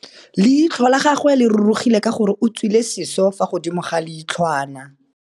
Leitlhô la gagwe le rurugile ka gore o tswile sisô fa godimo ga leitlhwana.